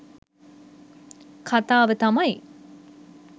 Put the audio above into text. කතාව තමයි